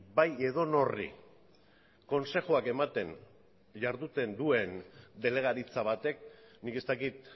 bai edonori konsejuak ematen duen jarduten delegaritza batek nik ez dakit